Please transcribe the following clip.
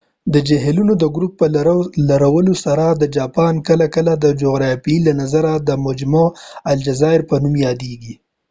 د جهیلونو د ګروپ په لرلو سره جاپان کله کله د جغرافیې له نظریه د مجمع الجزایز په نوم یادېږي